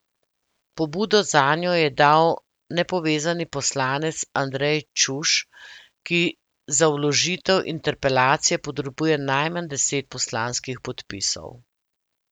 Pobudo zanjo je dal nepovezani poslanec Andrej Čuš, ki za vložitev interpelacije potrebuje najmanj deset poslanskih podpisov.